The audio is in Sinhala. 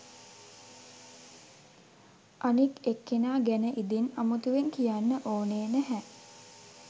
අනික් එක්කෙනා ගැන ඉදින් අමුතුවෙන් කියන්න ඕනේ නැහැ